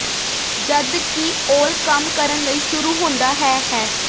ਜਦ ਕਿ ਔਲ ਕੰਮ ਕਰਨ ਲਈ ਸ਼ੁਰੂ ਹੁੰਦਾ ਹੈ ਹੈ